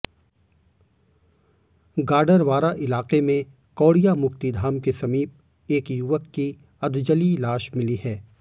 गाडरवारा इलाके में कौड़िया मुक्तिधाम के समीप एक युवक की अधजली लाश मिली है